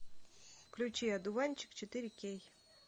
включи одуванчик четыре кей